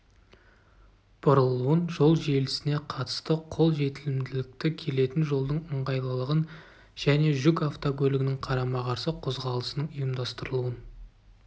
бұрылуын жол желісіне қатысты қол жетімділікті келетін жолдың ыңғайлылығын және жүк автокөлігінің қарама-қарсы қозғалысының ұйымдастырылуын